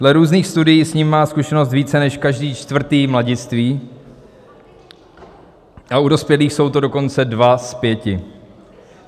Dle různých studií s ním má zkušenost více než každý čtvrtý mladistvý, a u dospělých jsou to dokonce dva z pěti.